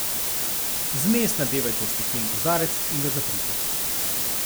Zmes nadevajte v steklen kozarec in ga zaprite.